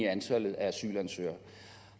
at antallet af asylansøgere